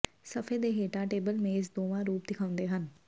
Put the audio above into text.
ਸਫ਼ੇ ਦੇ ਹੇਠਾਂ ਟੇਬਲ ਮੇਜ਼ ਦੋਵਾਂ ਰੂਪ ਦਿਖਾਉਂਦੇ ਹਨ